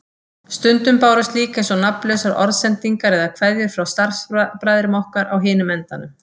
Stundum bárust líka eins og nafnlausar orðsendingar eða kveðjur frá starfsbræðrum okkar á hinum endanum.